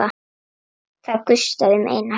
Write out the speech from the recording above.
Það gustaði um Einar.